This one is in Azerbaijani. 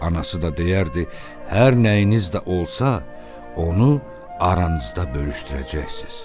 Anası da deyərdi: "Hər nəyiniz də olsa, onu aranızda bölüşdürəcəksiz."